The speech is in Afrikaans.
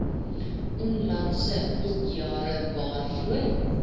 onlangse boekjare waarvoor